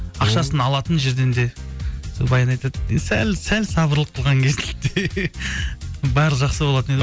ақшасын алатын жерден де баян айтады сәл сәл сабырлық қылған барлығы жақсы болатын